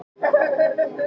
Sæll Ólafur Jón.